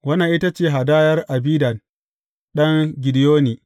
Wannan ita ce hadayar Abidan ɗan Gideyoni.